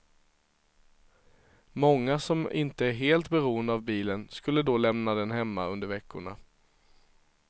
Många som inte är helt beroende av bilen skulle då lämna den hemma under veckorna.